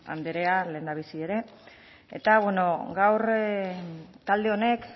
anderea lehendabizi ere gaur talde honek